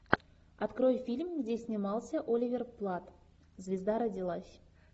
открой фильм где снимался оливер платт звезда родилась